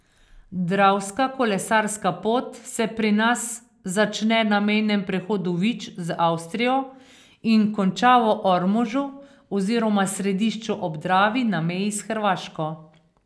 Dravska kolesarska pot se pri nas začne na mejnem prehodu Vič z Avstrijo in konča v Ormožu oziroma Središču ob Dravi na meji s Hrvaško.